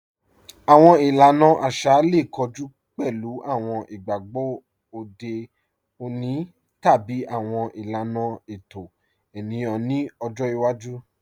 Awọn ìlàna àṣà lè kọ̀jù pẹ̀lú awọn ìgbàgbọ̀ òde ọ̀nì tàbí awọn ìlàna ẹ̀tọ̀ ènìyàn nì ọ̀jọ́ ìwàjú.